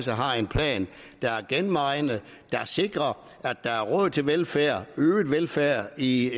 har en plan der er gennemregnet der sikrer at der er råd til velfærd øget velfærd i